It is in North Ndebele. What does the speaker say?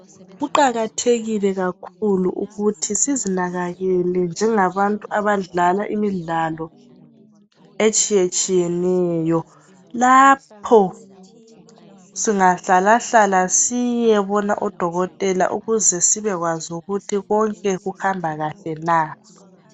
Kuqakathekile kakhulu ukuthi sizinakekele njenga bantu abadlala imidlalo etshiyetshiye neyo lapho singahlala hlala siye bona odokotela ukuze sibekwazi ukuthi konke kuhamba kahle na